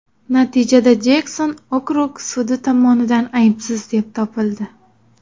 Natijada Jekson okrug sudi tomonidan aybsiz deb topildi.